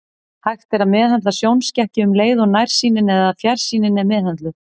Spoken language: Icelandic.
Hægt er að meðhöndla sjónskekkju um leið og nærsýnin eða fjarsýnin er meðhöndluð.